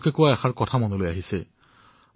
আচাৰ্য চৰকে চিকিৎসকসকলৰ বাবে এক সঠিক কথা কৈছিল